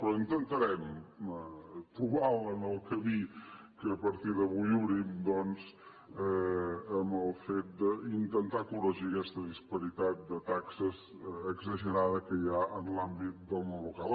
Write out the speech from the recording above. però intentarem trobar en el camí que a partir d’avui obrim doncs amb el fet d’intentar corregir aquesta disparitat de taxes exagerada que hi ha en l’àmbit del món local